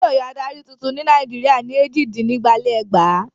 Wọn yóò yan adarí tuntun ní Nàìjíríà ní èjìdínígba-lé-ẹgbàá.